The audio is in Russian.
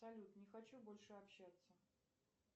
салют не хочу больше общаться